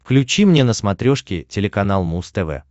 включи мне на смотрешке телеканал муз тв